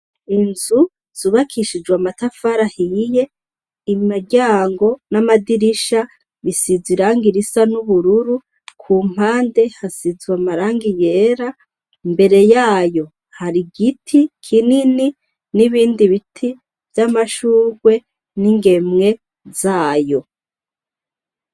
Inzu zubakishijwe amatafari ahiye imiryango n'amadirisha bisize irangi risa nubururu kumpande hasizwe amarangi yera imbere yayo hari igiti kinini n'ibindi biti vyamashurwe n'ingemwe zayo.